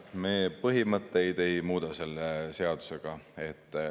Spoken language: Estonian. Me põhimõtteid ei muuda selle seadusega.